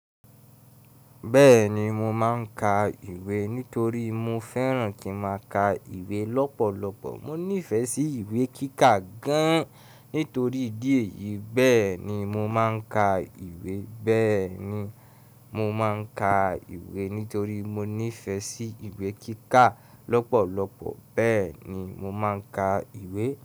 Bẹ́ẹ̀ni mo máa ń ka ìwé nítorí mo fẹ́ràn kí n máa ka ìwé lọ́pọ̀lọpọ̀. Mo nífẹ̀ẹ́ sí ìwé kíkà gan nítorí ìdí èyí, bẹ́ẹ̀ ni mo máa ń ka ìwé. Bẹ́ẹ̀ni mo máa ń ka ìwé nítorí mo nífẹ̀ẹ́ sí ìwé kíkà lọ́pọ̀lọpọ̀. Bẹ́ẹ̀ ni mo máa ń ka ìwé.